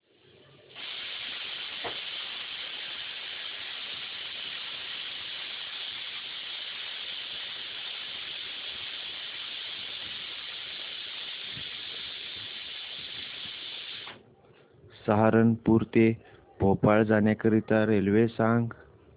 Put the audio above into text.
सहारनपुर ते भोपाळ जाण्यासाठी रेल्वे सांग